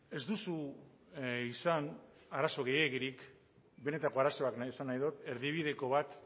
ez duzu izan arazo gehiegirik benetako arazoak esan nahi dut erdibideko bat